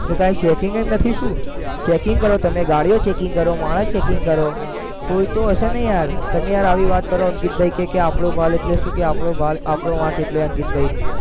તો કાઈ checking જ નથી શું checking કરે તમે ગાડીઓ checking કરો માણસ checking કરો હમ કોઈ તો હશે ને યાર તમે યાર આવી વાત કરો અંકિતભાઈ કે આપણો માલ એટલે શું કે આપણો માલ, આપનો માલ કેટલો અંકિતભાઈ